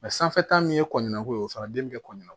sanfɛta min ye kɔɲɔko ye o fana den be kɔn ɲɛnɛ